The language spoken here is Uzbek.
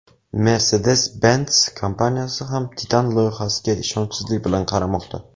Mercedes-Benz kompaniyasi ham Titan loyihasiga ishonchsizlik bilan qaramoqda.